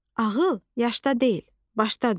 Ağıl yaşda deyil, başdadır.